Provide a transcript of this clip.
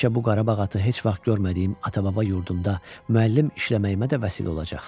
Bəlkə bu Qarabağ atı heç vaxt görmədiyim ata-baba yurdumda müəllim işləməyimə də vəsilə olacaq.